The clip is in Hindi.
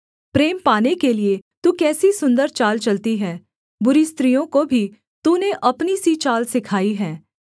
प्रेम पाने के लिये तू कैसी सुन्दर चाल चलती है बुरी स्त्रियों को भी तूने अपनी सी चाल सिखाई है